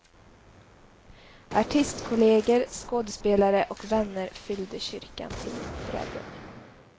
Artistkolleger, skådespelare och vänner fyllde kyrkan till brädden.